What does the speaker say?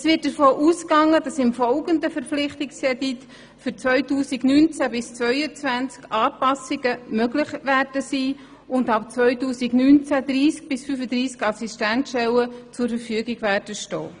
Es wird davon ausgegangen, dass mit dem kommenden, mehrjährigen Verpflichtungskredit für 2019í2022 Anpassungen möglich sein werden und ab 2019 30 bis 35 Assistenzstellen zur Verfügung stehen.